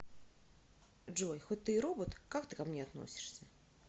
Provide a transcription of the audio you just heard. джой хоть ты и робот как ты ко мне относишься